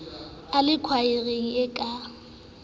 a le khwaereng e ka